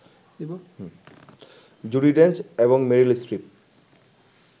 জুডি Dench এবং Meryl strip